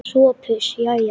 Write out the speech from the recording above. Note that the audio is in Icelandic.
SOPHUS: Jæja!